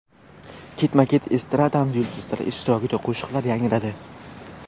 Ketma-ket estradamiz yulduzlari ishtirokida qo‘shiqlar yangradi.